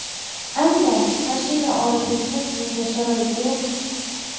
Ammo mashina olish uchun menda sharoit yo‘q.